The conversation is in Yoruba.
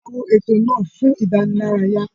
A wo ètò náà fún ìdánilárayá.